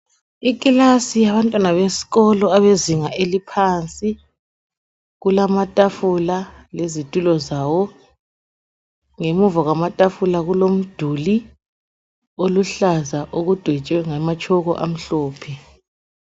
Ikilasi yesikolo yabantwana abezinga eliphansi kulamatafula lezitulo zawo ngemuva kwamatafula kulomduli oluhlaza okudwetshwe ngamatshoko amhlophe.